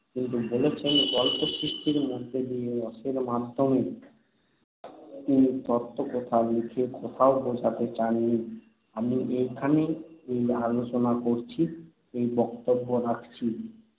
কিন্তু বলেছেন গল্প সৃষ্টির মধ্য দিয়ে, রসের মাধ্যমে। তিনি তত্ত্বকথা লিখে কোথাও বোঝাতে চাননি - আমি এইখানে এই আলোচনা করছি, এই বক্তব্য রাখছি।